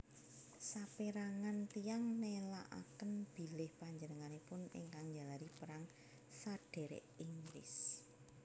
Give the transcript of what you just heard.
Sapérangan tiyang nelakaken bilih panjenenganipun ingkang njalari Perang Sadhèrèk Inggris